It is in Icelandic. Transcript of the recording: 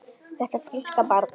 Þetta fríska barn?